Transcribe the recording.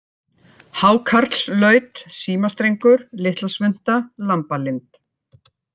Hákarlslaut, Símastrengur, Litlasvunta, Lambalind